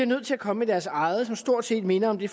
nødt til at komme med deres eget som stort set minder om det